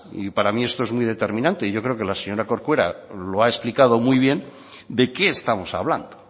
y para mí esto es muy determinante y yo creo que la señora corcuera lo ha explicado muy bien de qué estamos hablando